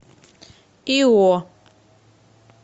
ио